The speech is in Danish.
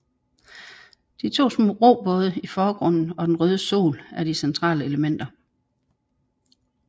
De to små robåde i forgrunden og den røde sol er de centrale elementer